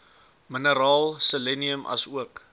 mineraal selenium asook